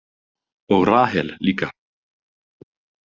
Og Rahel líka.